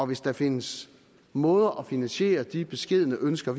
hvis der findes måder at finansiere de beskedne ønsker